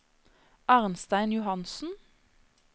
Arnstein Johansen